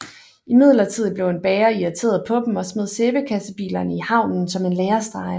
Imidlertid blev en bager irriteret på dem og smed sæbekassebilerne i havnen som en lærestreg